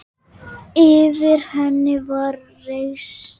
Yfir henni var reisn.